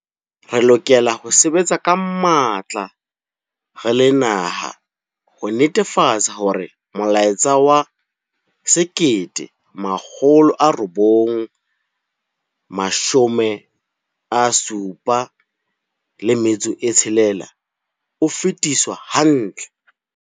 Re lokela ho sebetsa ka matla re le naha ho netefatsa hore molaetsa wa 1976 o fetiswa hantle.